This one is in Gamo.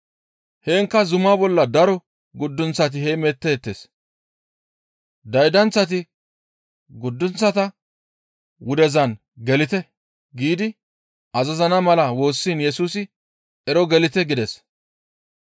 Heenkka zuma bolla daro guddunththi heemettees; daydanththati, «Guddunththa wudezan gelite» giidi azazana mala woossiin Yesusi, «Ero gelite!» gides.